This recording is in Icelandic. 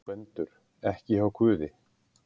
GVENDUR: Ekki hjá guði?